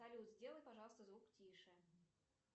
салют сделай пожалуйста звук тише